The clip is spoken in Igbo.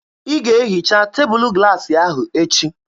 Ị ga-ehicha tebụlụ glaasị ahụ echi!